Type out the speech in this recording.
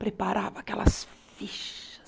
Preparava aquelas fichas.